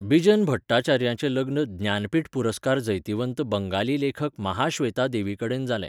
बिजन भट्टाचार्याचें लग्न ज्ञानपीठ पुरस्कार जैतिवंत बंगाली लेखक महाश्वेता देवीकडेन जालें.